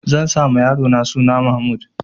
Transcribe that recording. Zan sa ma yarona suna Mahmud.